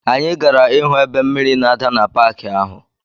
Anyị gara ịhụ ebe mmiri na-ada na paki ahụ.